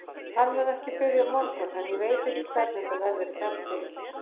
Hann mun ekki byrja á morgun en ég veit ekki hvernig þetta verður í framtíðinni.